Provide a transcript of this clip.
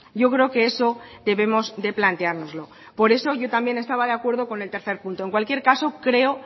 yo creo que eso debemos de planteárnoslo por eso yo también estaba de acuerdo con el tercer punto en cualquier caso creo